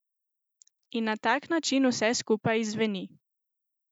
In na tak način vse skupaj izzveni.